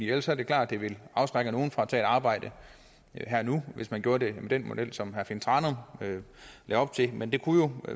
ellers er det klart at det vil afskrække nogle fra at tage et arbejde her og nu hvis man gjorde det med den model som herre finn thranum lagde op til men der kunne jo